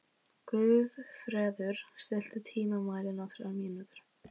Guðfreður, stilltu tímamælinn á þrjár mínútur.